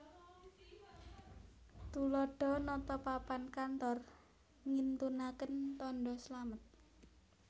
Tuladha nata papan kantor ngintunaken tandha slamet